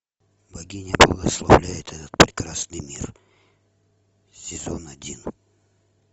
богиня благословляет этот прекрасный мир сезон один